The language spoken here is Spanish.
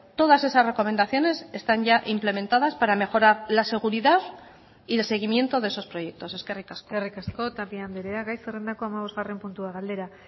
todas esas recomendaciones están ya implementadas para mejorar la seguridad y el seguimiento de esos proyectos eskerrik asko eskerrik asko tapia andrea gai zerrendako hamabosgarren puntua galdera